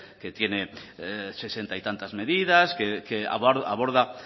que tiene sesenta y tantas medidas que aborda